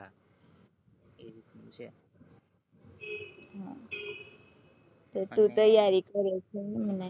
હ તે તું તૈયારી કરે છે એમ ને